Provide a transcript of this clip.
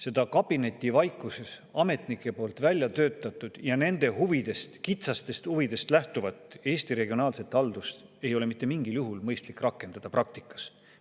Seda kabinetivaikuses ametnike poolt välja töötatud ja nende huvidest, kitsastest huvidest lähtuvat Eesti regionaalset haldust ei ole mitte mingil juhul mõistlik rakendada praktikas.